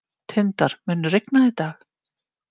Tindar, mun rigna í dag?